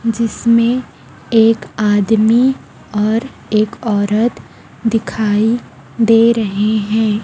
जिसमें एक आदमी और एक औरत दिखाई दे रहे हैं।